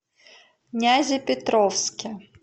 нязепетровске